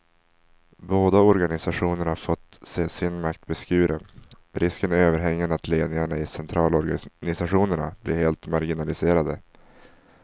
Båda organisationerna har fått se sin makt beskuren, risken är överhängande att ledningarna i centralorganisationerna blir helt marginaliserade.